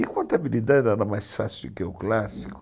E contabilidade era mais fácil do que o clássico.